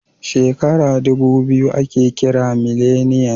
Shekara ɗubu biyu ake kira mileniyan